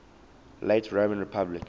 late roman republic